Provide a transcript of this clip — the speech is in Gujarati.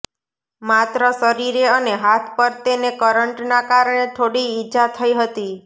માત્ર શરીરે અને હાથ પર તેને કરંટના કારણે થોડી ઈજા થઈ હતી